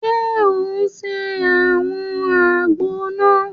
Ṣe o ń se awọn àgbo náà?